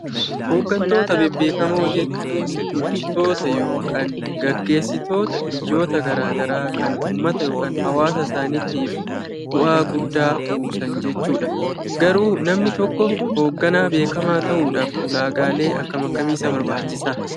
Hoggantoota bebbeekamoo jechuun bulchitoota yookaan gaggeessitoota biyyoota gara garaa kan uummata yookaan hawwaasa isaaniitiif bu'aa guddaa buusaa jechuudha. Garuu namni tokko hogganaa beekamaa ta'uudhaaf ulaagaalee akkam akkamii isa barbaachisaa?